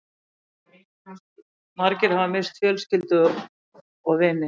Margir hafa misst fjölskyldur og vini